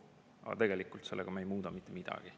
Aga tegelikult sellega me ei muuda mitte midagi.